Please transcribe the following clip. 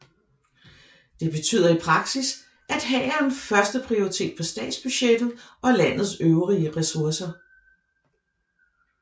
Det betyder i praksis at hæren har første prioritet på statsbudgettet og landets øvrige ressourcer